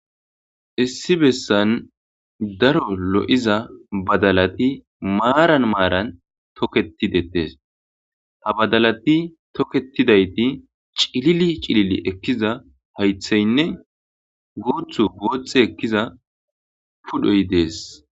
Issi bessan daro lo7iza badalati maaran maaran toketidettees ha badalati toketidayti cilili cilili ekkiza haytheynne guuthu bootxe ekkiza pudhoy dees.